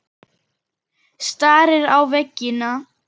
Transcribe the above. Stari á veginn.